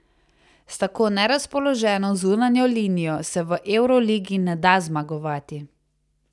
S tako nerazpoloženo zunanjo linijo se v evroligi ne da zmagovati.